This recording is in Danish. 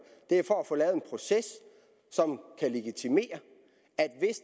er for at få lavet en proces som kan legitimere